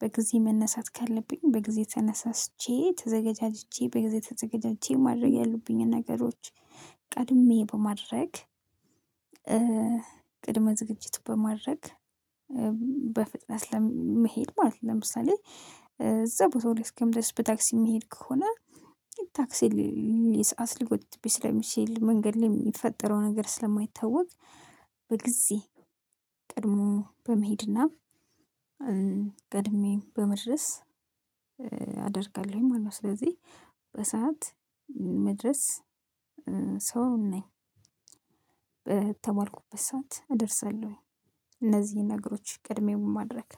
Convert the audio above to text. በጊዜ መነሳት ካለብኝ በጊዜ ተነሳስቼ ተዘጋጃጅቼ በጊዜ ተዘጋጃጅቼ ማድረግ ያሉብኝን ነገሮች ቀድሜ በማድረግ። ቅድመ ዝግጅት በማድረግ በፍጥነት ለመሄድ ማለት ነው። ለምሳሌ እዛ ቦታው ላይ እስከምደርስ በታክሲ የሚሄድ ከሆነ። ታክሲ ል ሰዓት ሊጎትትብኝ ስለሚችል መንገድ ላይ የሚፈጠረው ነገር ስለማይታወቅ። በጊዜ ቀድሞ በመሄድና ቀድሜ በመድረስ አደርጋለሁ ማለት ነው። ስለዚህ በሰአት መድረስ ሰው ነኝ። በተባልኩበት ሰዓት እደርሳለሁኝ እነዚህን ነገሮች ቅድሚያ በማድረግ።